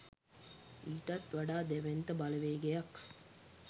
ඊටත් වඩා දැවැන්ත බලවේගයක්